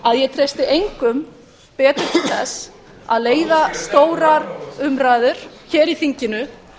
að ég treysti engum betur til þess að leiða stórar umræður hér í þinginu